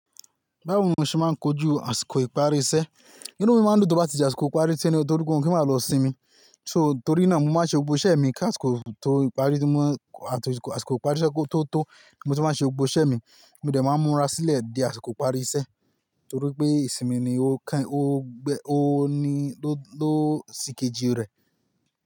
Báwo mo ṣe máa ń kojú àsìkò ìparí iṣẹ́? Inú mi máa ń dùn tó bá ti di àsìkò ìparí iṣẹ́ ní o torí pé mo ma pe máa lọ sinmi. So torí náà mo máa ṣe gbogbo iṣẹ́ mi kí àsìkò tó ìparí tí mo, àti àsìkò ìparí iṣẹ́ kotó tó, mo ti máa ṣe gbogbo iṣẹ́ mi. Mi dè ma ń múra sílẹ̀ di àsìkò ìparí iṣẹ́ torí pé ìsinmi ni ó kan, ó gbe, ó ni ló, ló sìkejì rẹ̀.